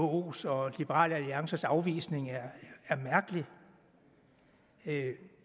vko’s og liberal alliances afvisning er mærkelig det